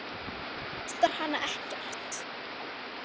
Það kostar hann ekkert.